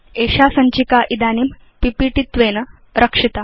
एषा सञ्चिका इदानीं पीपीटी त्वेन रक्षिता